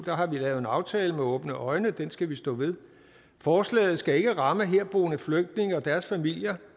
har vi lavet en aftale med åbne øjne og den skal vi stå ved forslaget skal ikke ramme herboende flygtninge og deres familier